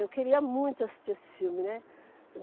Eu queria muito assistir esse filme, né.